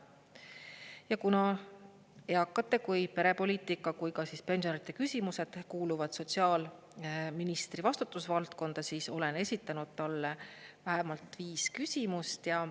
Ja kuna nii eakate, perepoliitika kui ka pensionäride küsimused kuuluvad sotsiaalministri vastutusvaldkonda, siis olen esitanud talle vähemalt viis küsimust.